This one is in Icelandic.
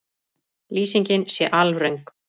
Lýsingin sé alröng